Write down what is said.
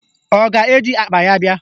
Ọ ga-eji akpa ya bịa?